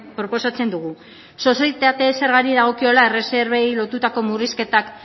proposatzen dugu sozietate zergari dagokiola erreserbei lotutako murrizketak